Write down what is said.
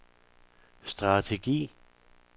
strategi